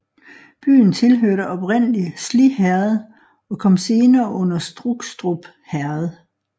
Byen tilhørte oprindlig Sliherred og kom senere under Strukstrup Herred